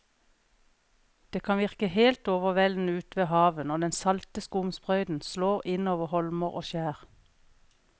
Det kan virke helt overveldende ute ved havet når den salte skumsprøyten slår innover holmer og skjær.